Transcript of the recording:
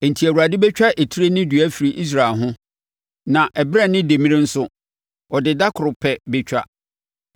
Enti Awurade bɛtwa etire ne dua afiri Israel ho na ɛberɛ ne demmire nso, ɔde da koro pɛ bɛtwa;